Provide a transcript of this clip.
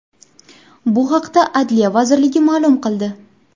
Bu haqda Adliya vazirligi ma’lum qildi.